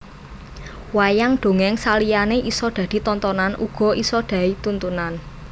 Wayang dongeng saliyane isa dadi tontonan uga isa dai tuntunan